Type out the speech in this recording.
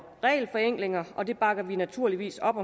regelforenklinger og det bakker vi naturligvis op